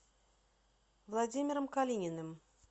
владимиром калининым